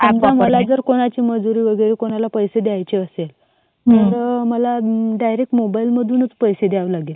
आता मला जर कोणाची मजुरी वगैरे कोणाचे कोणाला पैसे द्यायचे असेल हा तर मला डायरेक्ट मोबाईल मधूनच पैसे द्यावे लागेल.